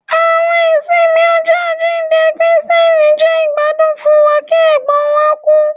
Àwọn ìsinmi Ọjọ ajinde Kristi jẹ igbadun fún wa ki ègbón wa ku